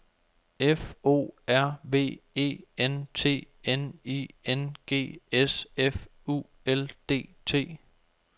F O R V E N T N I N G S F U L D T